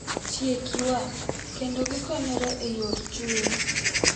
Tiek ywak, kendo gikonyre e yor chuny.